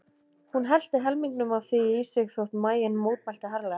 Hún hellti helmingnum af því í sig þótt maginn mótmælti harðlega.